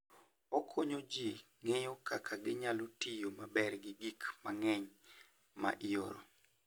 Okonyo ji ng'eyo kaka ginyalo tiyo maber gi gik mang'eny ma ioro.